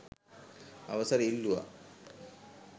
අවසර ඉල්ලූවා